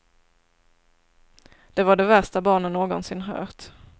Det var det värsta barnen någonsin hört.